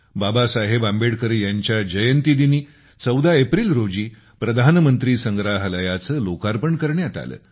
बाबासाहेब आंबेडकर यांच्या जयंतीदिनी १४ एप्रिल रोजी प्रधानमंत्री संग्रहालय लोकार्पण करण्यात आले